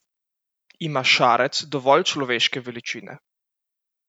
Ima Šarec dovolj človeške veličine?